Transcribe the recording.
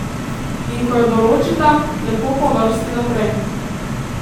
In ko jo določita, lepo po vrsti naprej.